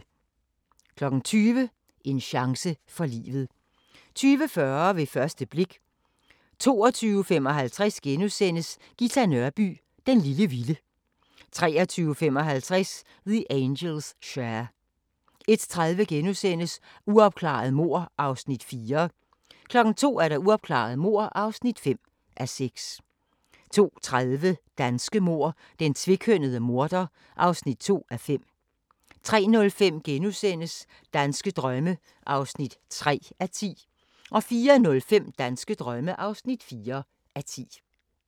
20:00: En chance for livet 21:40: Ved første blik 22:55: Ghita Nørby "Den lille vilde" 23:55: The Angels' Share 01:30: Uopklarede mord (4:6)* 02:00: Uopklarede mord (5:6) 02:30: Danske mord: Den tvekønnede morder (2:5) 03:05: Danske drømme (3:10)* 04:05: Danske drømme (4:10)